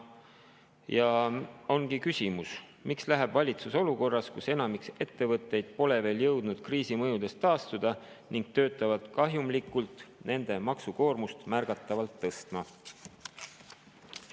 Ja siit ongi küsimus: miks läheb valitsus olukorras, kus enamik ettevõtteid pole veel jõudnud kriisi mõjudest taastuda ning töötavad kahjumlikult, nende maksukoormust märgatavalt tõstma?